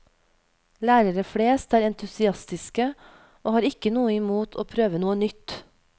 Lærere flest er entusiastiske, og har ikke noe imot å prøve noe nytt.